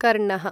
कर्णः